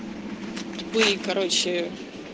тупые короче